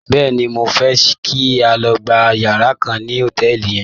Bẹ́ẹ̀ni, mo fẹ́ kí a lọ gba yàrá kan ní hòtẹ́ẹ̀lì yẹn.